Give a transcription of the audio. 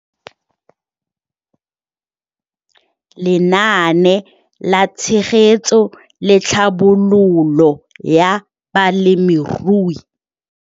Lenaane la Tshegetso le Tlhabololo ya Balemirui.